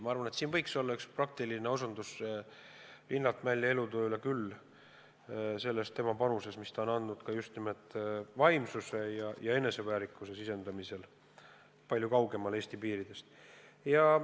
Ma arvan, et see võiks olla praktiline osutus Linnart Mälli elutööle, tema panusele, mille ta on andnud vaimsuse ja eneseväärikuse sisendamisel ka kaugemal Eesti piirist.